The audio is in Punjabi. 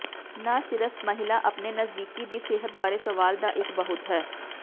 ਨਾ ਸਿਰਫ ਮਹਿਲਾ ਆਪਣੇ ਨਜਦੀਕੀ ਦੀ ਸਿਹਤ ਬਾਰੇ ਸਵਾਲ ਦਾ ਇੱਕ ਬਹੁਤ ਹੈ